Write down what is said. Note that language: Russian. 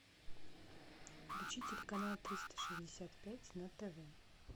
включи телеканал триста шестьдесят пять на тв